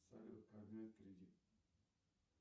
салют как взять кредит